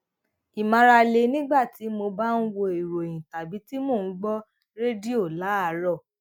ìmárale nígbà tí mo bá ń wo ìròyìn tàbí tí mo ń gbó rédíò láàárò